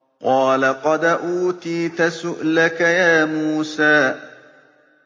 قَالَ قَدْ أُوتِيتَ سُؤْلَكَ يَا مُوسَىٰ